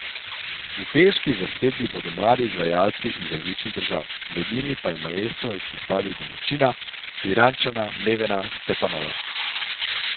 V pevski zasedbi bodo mladi izvajalci iz različnih držav, med njimi pa je maestro izpostavil domačina, Pirančana Nevena Stepanova.